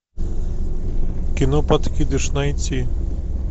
кино подкидыш найти